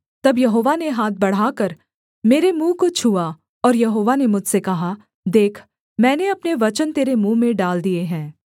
तब यहोवा ने हाथ बढ़ाकर मेरे मुँह को छुआ और यहोवा ने मुझसे कहा देख मैंने अपने वचन तेरे मुँह में डाल दिये हैं